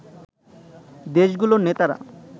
দেশগুলোর নেতারা